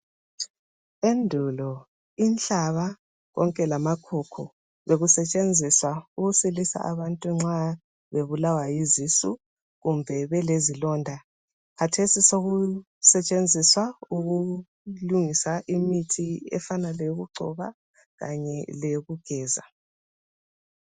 Endulo inhlaba konke lama khukhu bekusetshenziswa ukusilisa abantu nxa bebulawa yizisu kumbe belezilonda. Khathesi sokusetshenziswa ukulungisa imithi efanana leyokugcoba kanye leyokugeza.